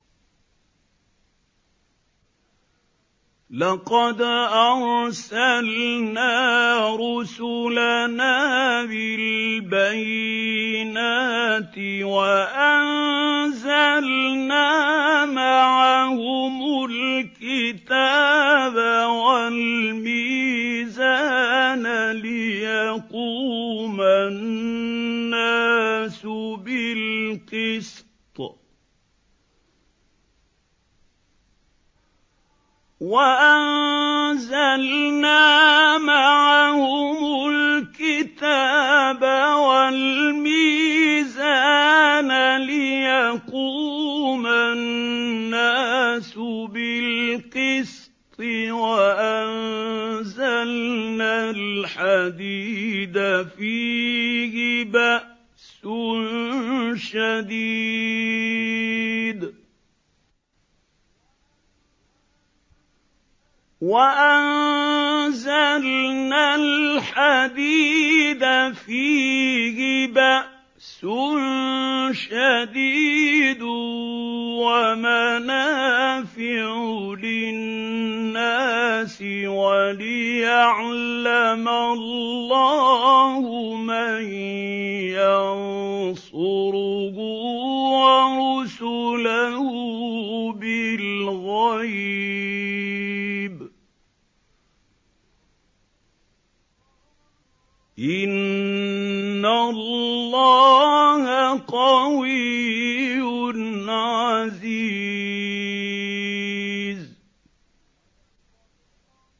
لَقَدْ أَرْسَلْنَا رُسُلَنَا بِالْبَيِّنَاتِ وَأَنزَلْنَا مَعَهُمُ الْكِتَابَ وَالْمِيزَانَ لِيَقُومَ النَّاسُ بِالْقِسْطِ ۖ وَأَنزَلْنَا الْحَدِيدَ فِيهِ بَأْسٌ شَدِيدٌ وَمَنَافِعُ لِلنَّاسِ وَلِيَعْلَمَ اللَّهُ مَن يَنصُرُهُ وَرُسُلَهُ بِالْغَيْبِ ۚ إِنَّ اللَّهَ قَوِيٌّ عَزِيزٌ